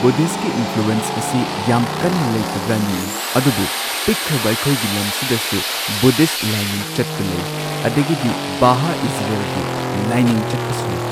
ꯕꯨꯙꯤꯁꯠꯀꯤ influence ꯑꯁꯤ ꯌꯥꯝ ꯀꯟꯅ ꯂꯩꯇꯕ꯭ꯔꯥ ꯅꯤꯡꯉꯤ ꯑꯗꯨꯕꯨ ꯄꯤꯛꯈ꯭ꯔꯕ ꯑꯩꯈꯣꯏꯒꯤ ꯂꯝ ꯁꯤꯗꯁꯨ ꯕꯨꯙꯤꯁꯠ ꯂꯥꯏꯅꯤꯡ ꯆꯠꯄ ꯂꯩ ꯑꯗꯒꯤꯗꯤ ꯚꯍꯥ ꯏꯖꯔꯦꯜꯒꯤ ꯂꯥꯏꯅꯤꯡ ꯆꯠꯄꯁꯨ ꯂꯩ꯫